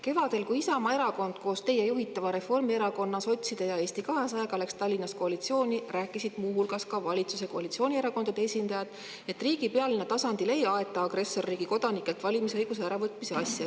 Kevadel, kui Isamaa Erakond koos teie juhitava Reformierakonna, sotside ja Eesti 200-ga läks Tallinnas koalitsiooni, rääkisid muu hulgas ka valitsuskoalitsiooni erakondade esindajad, et riigi pealinna tasandil ei aeta agressorriigi kodanikelt valimisõiguse äravõtmise asja.